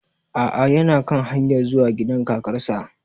A'a yana kan hanyar zuwa gida kakar sa